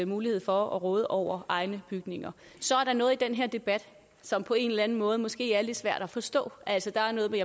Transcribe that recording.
mulighed for at råde over egne bygninger så er der noget i den her debat som på en eller anden måde måske er lidt svær at forstå der er noget med